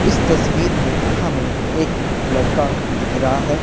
इस तस्वीर में हमें एक लड़का दिख रहा है।